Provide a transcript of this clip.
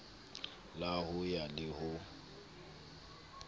la ho ya le ho